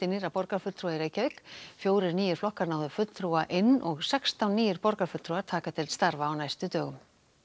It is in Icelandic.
nýrra borgarfulltrúa í Reykjavík fjórir nýir flokkar náðu fulltrúa inn og sextán nýir borgarfulltrúar taka til starfa á næstu dögum